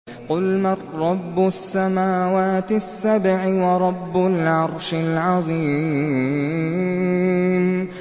قُلْ مَن رَّبُّ السَّمَاوَاتِ السَّبْعِ وَرَبُّ الْعَرْشِ الْعَظِيمِ